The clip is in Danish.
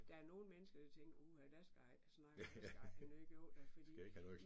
Der er nogen mennesker der tænker, uha dig skal jeg ikke snakke med dig skal jeg i hvert fald ikke jo da fordi